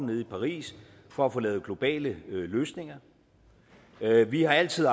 nede i paris for at få lavet globale løsninger vi har altid